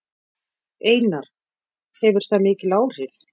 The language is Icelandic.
Einar: Hefur það mikil áhrif?